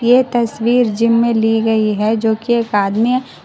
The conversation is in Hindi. ये तस्वीर जिम में ली गई है जोकि एक आदमी--